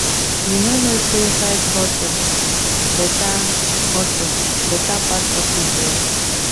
you no know sey side hustle beta hustle beta pass office work